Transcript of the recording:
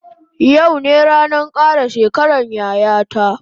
Yau ne ranan kara shekaran yaya ta